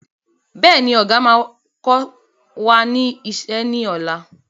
Bẹ́ẹ̀ni, Ọ̀gá máa kọ wá ní ìṣe ni ọ̀la.